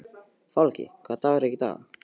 Fálki, hvaða dagur er í dag?